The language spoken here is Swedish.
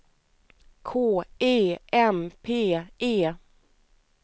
K E M P E